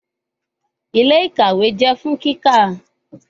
Ile-ikawe jẹ fun kika